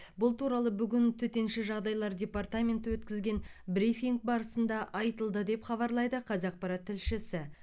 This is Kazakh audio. бұл туралы бүгін төтенше жағдайлар департаменті өткізген брифинг барысында айтылды деп хабарлайды қазақпарат тілшісі